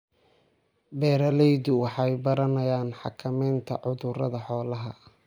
Beeraleydu waxay baranayaan xakameynta cudurrada xoolaha.